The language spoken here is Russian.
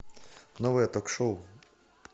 новое ток шоу